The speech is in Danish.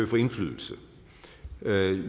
få indflydelse